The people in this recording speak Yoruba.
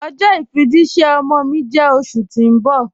Ọjọ ifijìṣẹ̀ ọmọ mi jẹ́ oṣù ti n bọ̀.